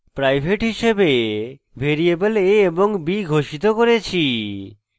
private হিসাবে variable a এবং b ঘোষিত করেছি